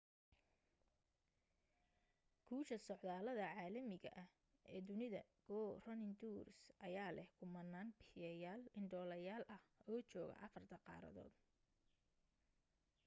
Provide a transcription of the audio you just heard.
guusha socdaallada caalamiga ah ee dunida go running tours ayaa leh kumanaan bixiyeyaal indhoolayaal ah oo jooga afarta qaaradood